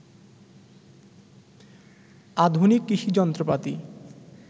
আধুনিক কৃষি যন্ত্রপাতি